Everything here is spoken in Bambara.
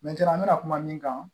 an bɛna kuma min kan